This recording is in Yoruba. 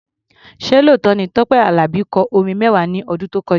Ṣé lóòótọ́ ni pé Tọ́pẹ́ Àlàbí kọ orin mẹ́wàá ní ọdún tó kọjá?